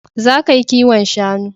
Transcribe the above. Za ka yi kiwon shanu